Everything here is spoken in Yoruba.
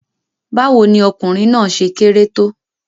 Báwo ni ọkùnrin náà ṣe kéré tó?